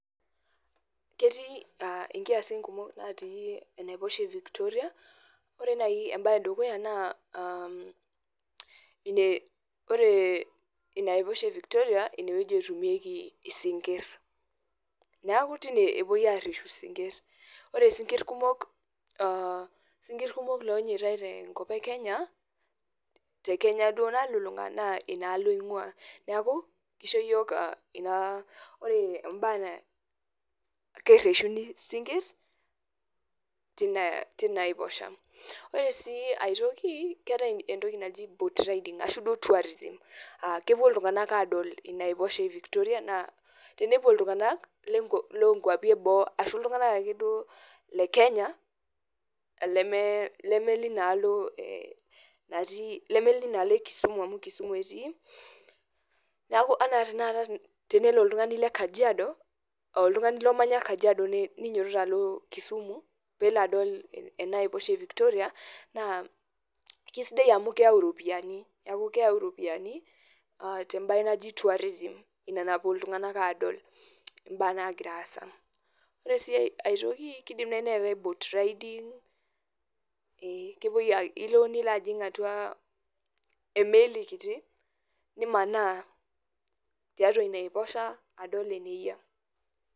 ketii inkiyasin kumook naati enaiposha e Victoria ore naaji embae edukuya naa ore ina aiposha e Victoria ine etumieki isinkirr neeku tine epoii areshu isinkirr ore isinkirr kumok lonyitai tenkop ee Kenya te Kenya duo nalulunga naa inakop eingua neeku keisho iyiok inaa ore mbaa kereshuni isinkirr tina aiposhe ore sii aitokii keetai entoki naji boat riding arashuu duo tourism aa kepuo iltunganak aadol ina aiposha e Victoria naa tenepuo iltunganak loo nkuapi eboo arashu iltungak duo le Kenya lemee linalo e Kisumu amuu Kisumu etii anaa tanataka tenelo oltungani le Kajiado teneinyototo alo Kisumu adol enaa aiposha e Victoria naa kesiadai amuu keyau iropiyiani temae naji tourism ina napuo iltunganak adol imbaa naagira aasa ore sii aitoki keidim naaji neetae boat riding ilo nilajiing atua emeli kitii nimaana tiatua ina aiposha adol eneyia.